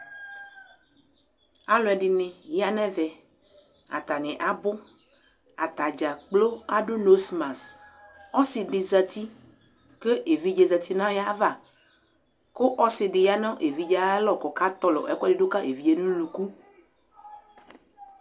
Alʋɛdɩnɩ ya nʋ ɛvɛ Atanɩ abʋ Ata dza kplo adʋ nosmas Ɔsɩ dɩ zati kʋ evidze zati nʋ ayava kʋ ɔsɩ dɩ ya nʋ evidze yɛ ayalɔ kʋ ɔkatɔlɔ ɛkʋɛdɩ dʋ ka evidze yɛ nʋ unuku